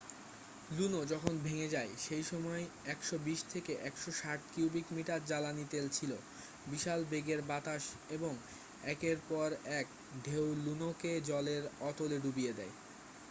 লুনো যখন ভেঙে যায় সেই সময় 120-160 কিউবিক মিটার জ্বালানি তেল ছিল বিশাল বেগের বাতাস এবং একের পর এক ঢেউ লুনোকে জলের অতলে ডুবিয়ে দেয়